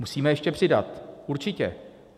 Musíme ještě přidat, určitě.